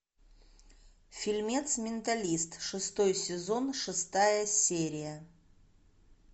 фильмец менталист шестой сезон шестая серия